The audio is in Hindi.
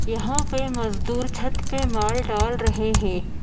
यहाँ पे मज़दूर छत पे माल डाल रहे हैं।